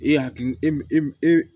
E hakili e e e